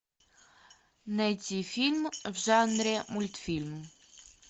найти фильм в жанре мультфильм